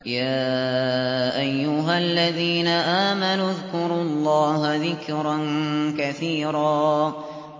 يَا أَيُّهَا الَّذِينَ آمَنُوا اذْكُرُوا اللَّهَ ذِكْرًا كَثِيرًا